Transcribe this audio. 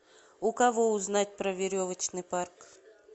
у кого узнать про веревочный парк